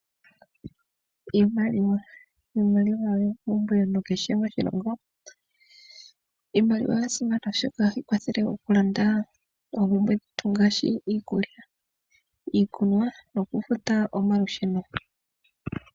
Iimaliwa Iimaliwa oyo ompumbwe kehe moshilongo. Iimaliwa oya simana, oshoka ohayi kwathele okulanda oompumbwe dhetu ngaashi iikulya, iikunwa nokufuta omalusheno.